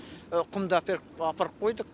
құмды әперіп апарып қойдық